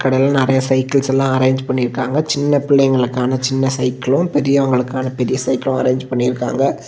இதுல நிறைய சைக்கிள்ஸெல்லா அரேஞ்ச் பண்ணி இருக்காங்க சின்ன பிள்ளைகளுக்கான சின்ன சைக்கிளும் பெரியவங்களுக்கான பெரிய சைக்கிளும் அரேஞ்ச் பண்ணி இருக்காங்க.